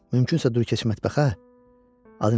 Mümkünsə dur get mətbəxə, adı nədir onun?